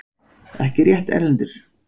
Ekki rétt, Erlendur?!